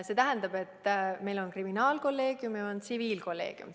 See tähendab, et meil on kriminaalkolleegium ja on tsiviilkolleegium.